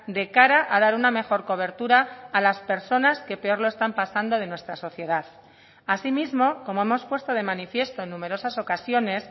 de cara a dar una mejor cobertura a las personas que peor lo están pasando de nuestra sociedad asimismo como hemos puesto de manifiesto en numerosas ocasiones